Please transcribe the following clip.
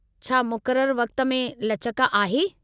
छा मुक़ररु वक़्त में लचक आहे?